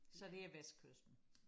Så det er vestkysten